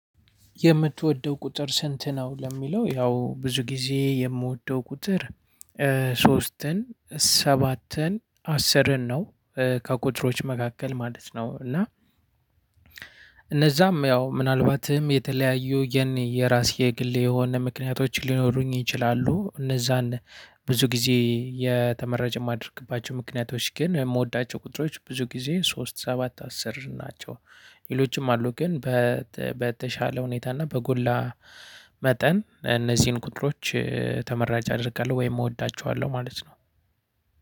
የምትወደው ቁጥር ስንት? ነው ለሚለው ያው ብዙ ጊዜ የምወደው ቁጥር ሶስትን ሰባትን አስርን ነው ከቁጥሮች መካከል ማለት ነው። እና እነዛም ያው ምናልባትም የተለያዩ የኔ የራሴ የግል የሆነ ምክንያቶች ሊኖሩኝ ይችላሉ። እነዛን ብዙ ጊዜ የተመራጭ የማደርግባቸው ምክንያቶች ግን የምወዳቸው ቁጥሮች ብዙ ጊዜ ሶስት ሰባት አስር ናቸው። ሌሎችም አሉ ግን በተሻለ ሁኔታ እና በጎላ መጠን እነዚህን ቁጥሮች ተመራጭ አደርጋለሁ ወይም እወዳቸዋለሁ ማለት ነው።